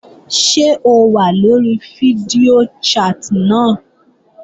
Ṣé o wà lórí fídíò chat náà?